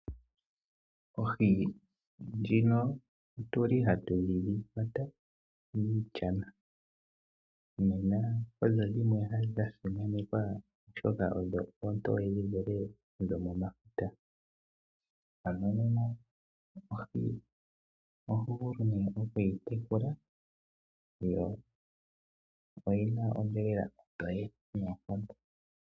Ohi ndjino ohatu yi kwata miishana. Nena odha simanekwa, oshoka oontoye dhi vule nodhomefuta. Ohi oho vulu okuyi tekula yo oyi na onyama ontoye noonkondo.